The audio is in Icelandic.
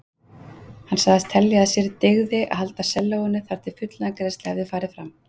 Hann sagðist telja að sér dygði að halda sellóinu þar til fullnaðargreiðsla hefði farið fram.